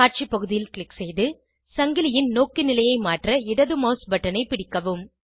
காட்சி பகுதியில் க்ளிக் செய்து சங்கிலியின் நோக்கு நிலைய மாற்ற இடது மவுஸ் பட்டனை பிடிக்கவும்